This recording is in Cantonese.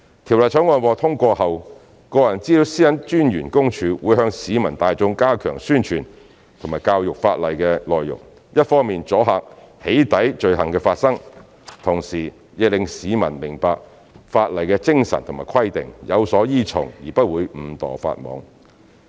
《條例草案》獲通過後，私隱公署會向市民大眾加強宣傳和教育法例的內容，一方面阻嚇"起底"罪行的發生，同時亦令市民明白法例的精神和規定，有所依從而不會誤墮法網。